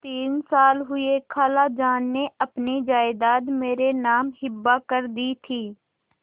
तीन साल हुए खालाजान ने अपनी जायदाद मेरे नाम हिब्बा कर दी थी